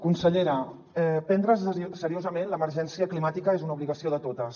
consellera prendre’s seriosament l’emergència climàtica és una obligació de totes